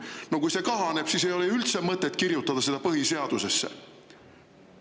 No kui see kahaneb, siis ei ole ju üldse mõtet seda põhiseadusesse kirjutada.